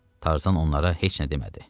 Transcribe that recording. Tarzan onlara heç nə demədi.